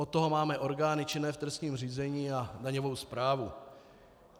Od toho máme orgány činné v trestním řízení a daňovou správu.